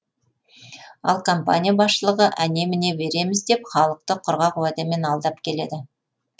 ал компания басшылығы әне міне береміз деп халықты құрғақ уәдемен алдап келеді